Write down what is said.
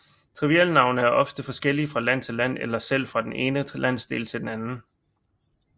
Trivialnavne er ofte forskellige fra land til land eller selv fra den ene landsdel til den anden